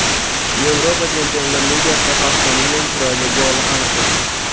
Yevropa Chempionlar Ligasida haftaning eng chiroyli goli aniqlandi.